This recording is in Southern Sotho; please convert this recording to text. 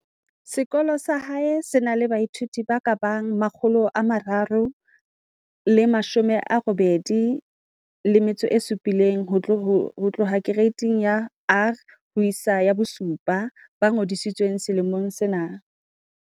Sekolo sa hae se na le baithuti ba ka bang 387 ho tloha Kereiti ya R ho isa 7 ba ngodisitsweng selemong sena.